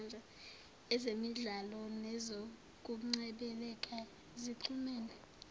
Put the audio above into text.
ezemidlalo nezokungcebeleka zixhumene